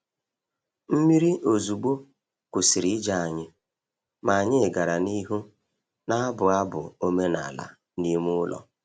Mmiri ozugbo kwụsịrị ije anyị, ma anyị gara n’ihu na-abụ abụ omenala n’ime ụlọ.